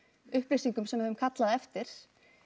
upplýsingum sem við höfum kallað eftir